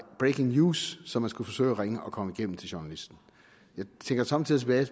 breaking news så man skulle forsøge at ringe og komme igennem til journalisten jeg tænker somme tider tilbage